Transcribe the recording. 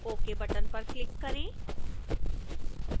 ok button पर click करें